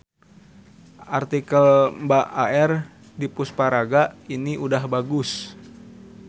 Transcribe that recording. Artikel mbak AR Dipusparaga ini udah bagus.